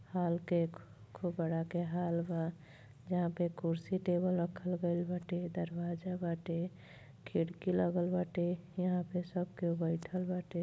हल्के खूब बड़ा के हॉल बा जहां पे कुर्सी टेबल रखल गइल बाटे दरवाजा बाटे खिड़की लगल बाटे यहां पे सब केहू बइठल बाटे |